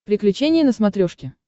приключения на смотрешке